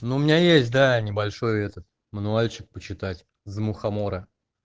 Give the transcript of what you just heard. но у меня есть да небольшой этот мануальщик почитать за мухомора